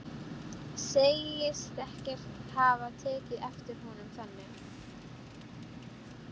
Segist ekkert hafa tekið eftir honum þannig.